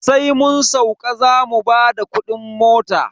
Sai mun sauka zamu bada kudin mota.